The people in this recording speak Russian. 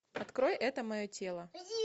открой это мое тело